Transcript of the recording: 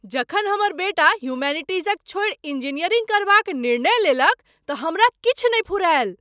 जखन हमर बेटा ह्यूमैनिटीज़क छोड़ि इंजीनियरिंग करबाक निर्णय लेलक तँ हमरा किछु नहि फुरायल।